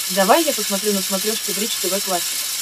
давай я посмотрю на смотрешке бридж тв классик